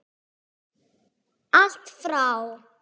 Allt frá